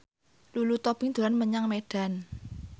Lulu Tobing dolan menyang Medan